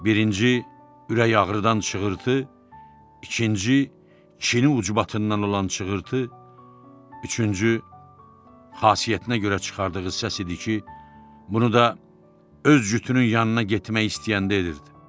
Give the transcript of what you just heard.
Birinci, ürək ağrıdan çığırtı, ikinci çini ucbatından olan çığırtı, üçüncü xasiyyətinə görə çıxardığı səs idi ki, bunu da öz cütünün yanına getmək istəyəndə edirdi.